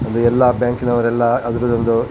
ಅದು ಎಲ್ಲ ಬ್ಯಾಂಕಿನವರು ಎಲ್ಲ ಅದ್ರ್ ಒಂದು --